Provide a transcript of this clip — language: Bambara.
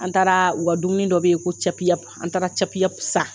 An taara u ka dumuni dɔ bɛ yen ko an taara san